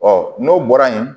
Ɔ n'o bɔra yen